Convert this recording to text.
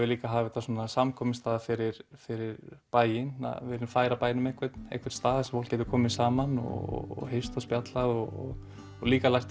líka að hafa þetta sem samkomustað fyrir fyrir bæinn við viljum færa bænum einhvern einhvern stað sem fólk getur komið saman og hist og spjallað og líka lært